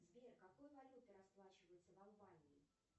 сбер какой валютой расплачиваются в албании